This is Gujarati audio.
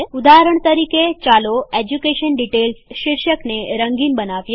ઉદાહરણ તરીકે ચાલો એજ્યુકેશન ડીટેઈલ્સ શીર્ષકને રંગીન કરીએ